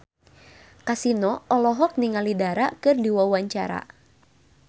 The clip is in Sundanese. Kasino olohok ningali Dara keur diwawancara